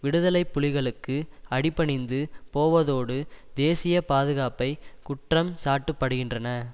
விடுதலை புலிகளுக்கு அடிபணிந்து போவதோடு தேசிய பாதுகாப்பை குற்றம்சாட்டுபடுகின்றன